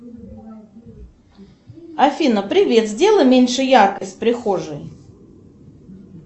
афина привет сделай меньше яркость в прихожей